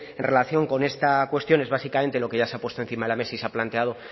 en relación con esta cuestión es básicamente lo que ya se ha puesto encima de la mesa y se ha planteado